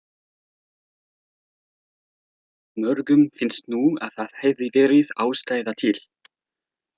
Mörgum finnst nú að þar hefði verið ástæða til.